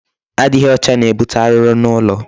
Adịghị ọcha na-ebute arụrụ n'ụlọ.